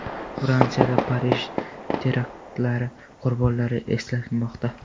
Fransiyada Parij teraktlari qurbonlari eslanmoqda.